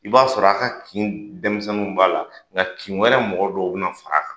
I b'a sɔrɔ a ka kin denmisɛnninw b'a la nka kin wɛrɛ mɔgɔ dɔw bɛ na fara a kan